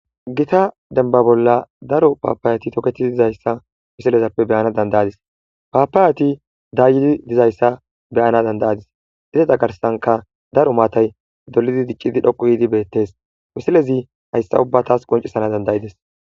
Gita denba bolla daro paapayati tokethii dizayssa wisilezappe beyana dandayadis paapaayati daayidi dizayssa beyana dandayadis iseta garsanka daro maatay dolidi diqqidi dhoqu yiidi beettes wusilezi hayssa ubbatas qoncisana dandayides.